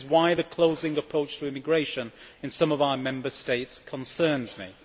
This is why the closing approach to immigration in some of our Member States concerns me.